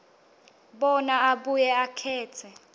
bona abuye akhetse